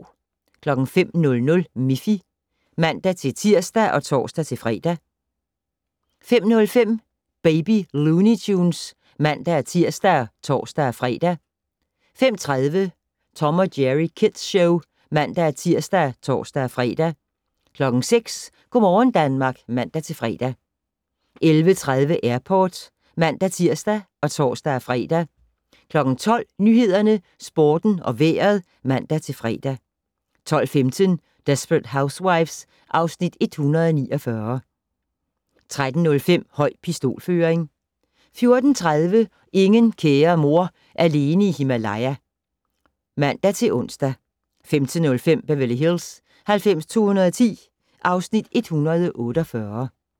05:00: Miffy (man-tir og tor-fre) 05:05: Baby Looney Tunes (man-tir og tor-fre) 05:30: Tom & Jerry Kids Show (man-tir og tor-fre) 06:00: Go' morgen Danmark (man-fre) 11:30: Airport (man-tir og tor-fre) 12:00: Nyhederne, Sporten og Vejret (man-fre) 12:15: Desperate Housewives (Afs. 149) 13:05: Høj pistolføring 14:30: Ingen kære mor - alene i Himalaya (man-ons) 15:05: Beverly Hills 90210 (Afs. 148)